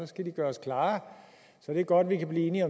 skal de gøres klare så det er godt at vi kan blive enige